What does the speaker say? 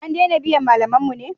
An dena biyan malaman mu ne?